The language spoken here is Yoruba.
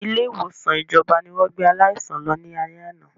Ilé ìwòsàn ìjọba ni wọ́n gbé aláìsàn lọ ní alé àná